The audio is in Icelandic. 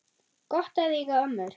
Gott að eiga ömmur!